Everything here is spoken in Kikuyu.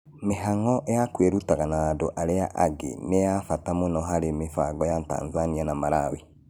Mĩhaano ya kwĩrutaga na andũ arĩa angĩ nĩ ya bata mũno harĩ mĩbango ya Tanzania na Malawi.